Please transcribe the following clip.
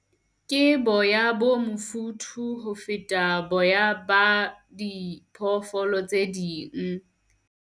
Ke boya bo mofuthu ho feta boya ba diphoofolo tse ding.